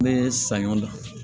Ne ye saɲɔ da